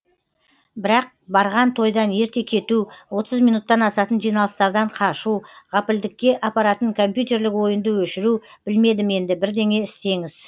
бірақ барған тойдан ерте кету минуттан асатын жиналыстардан қашу ғапілдікке апаратын компьютерлік ойынды өшіру білмедім енді бірдеңе істеңіз